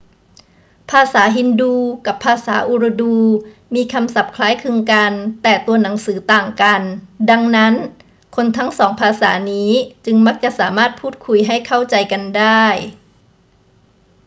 ภาษาฮินดูกับภาษาอูรดูมีคำศัพท์คล้ายคลึงกันแต่ตัวหนังสือต่างกัน ดังนั้น คนทั้งสองภาษานี้จึงมักจะสามารถพูดคุยให้เข้าใจกันได้